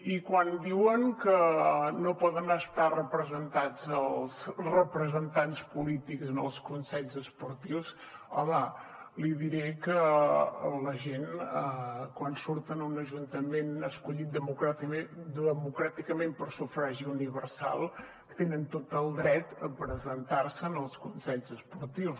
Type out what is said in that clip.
i quan diuen que no poden estar representats els representants polítics en els consells esportius home li diré que la gent quan surt en un ajuntament escollit democràticament per sufragi universal tenen tot el dret a presentar se als consells esportius